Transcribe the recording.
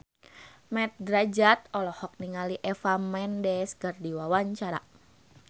Mat Drajat olohok ningali Eva Mendes keur diwawancara